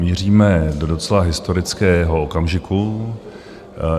Míříme do docela historického okamžiku.